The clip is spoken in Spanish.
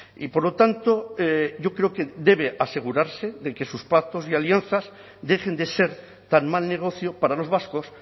y por lo tanto yo creo que debe asegurarse de que sus pactos y alianzas dejen de ser tan mal negocio para los vascos